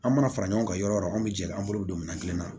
An mana fara ɲɔgɔn kan yɔrɔ yɔrɔ anw bɛ jɛ an bolo bɛ don min na kelen na